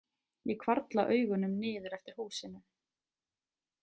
Ég hvarfla augunum niður eftir húsinu.